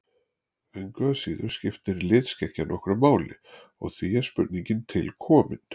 Engu að síður skiptir litskekkjan nokkru máli og því er spurningin til komin.